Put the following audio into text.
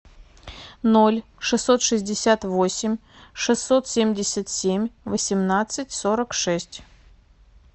ноль шестьсот шестьдесят восемь шестьсот семьдесят семь восемнадцать сорок шесть